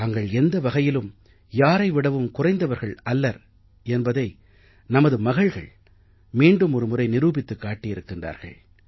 தாங்கள் எந்த வகையிலும் யாரை விடவும் குறைந்தவர்கள் அல்லர் என்பதை நமது மகள்கள் மீண்டுமொரு முறை நிரூபித்துக் காட்டியிருக்கிறார்கள்